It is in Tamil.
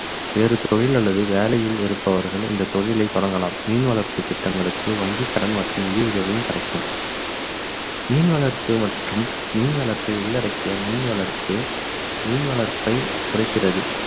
வேறு தொழில் அல்லது வேலையில் இருப்பவர்கள் இந்த தொழிலை தொடங்கலாம் மீன் வளர்ப்பு திட்டங்களுக்கு வங்கி கடன் மற்றும் நிதி உதவியும் கிடைக்கும் மீன் வளர்ப்பு மற்றும் மீன் வளர்ப்பை உள்ளடக்கிய மீன் வளர்ப்பு மீன் வளர்ப்பை குறைக்கிறது